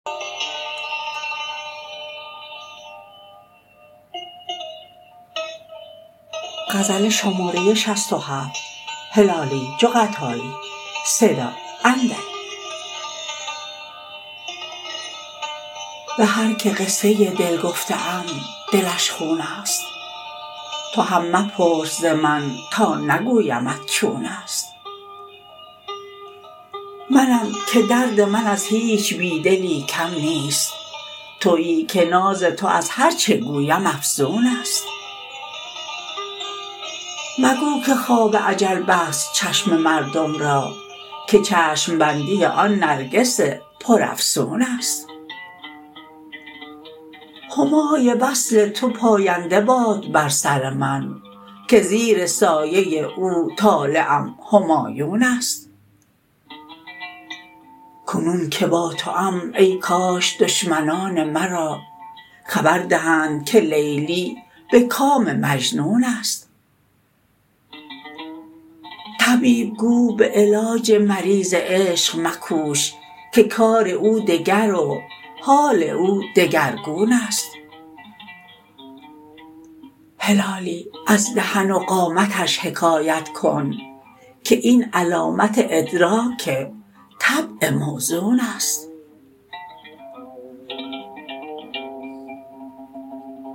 بهر که قصه دل گفته ام دلش خونست توهم مپرس ز من تا نگویمت چونست منم که درد من از هیچ بیدلی کم نیست تویی که ناز تو از هر چه گویم افزونست مگو که خواب اجل بست چشم مردم را که چشم بندی آن نرگس پر افسونست همای وصل تو پاینده باد بر سر من که زیر سایه او طالعم همایونست کنون که با توام ای کاش دشمنان مرا خبر دهند که لیلی بکام مجنونست طبیب گو بعلاج مریض عشق مکوش که کار او دگر و حال او دگرگونست هلالی از دهن و قامتش حکایت کن که این علامت ادراک طبع موزونست